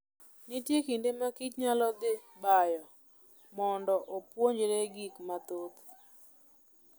Nitie kinde makich nyalo dhi bayo mondo opuonjre gik mathoth.